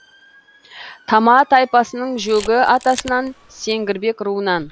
тама тайпасының жөгі атасынан сеңгірбек руынан